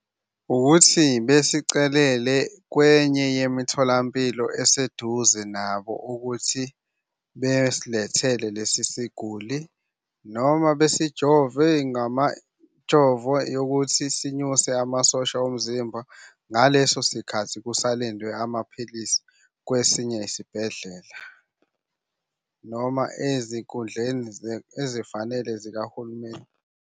Ukuthi besicelele kwenye yemitholampilo eseduze nabo ukuthi besilethela lesi siguli, noma besijove jovo yokuthi sinyuse amasosha omzimba ngaleso sikhathi kusalindwe amaphilisi kwesinye isibhedlela noma ezinkundleni ezifanele zikahulumeni.